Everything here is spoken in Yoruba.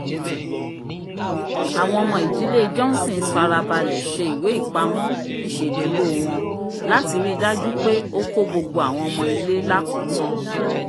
awọń ọmọ ìdílé jọhńsońs farabalẹ ṣe ìwé-ipamọ isẹduro wọń lati rii daju pé ókó gbogbo awọń ọmọ ilé lakotan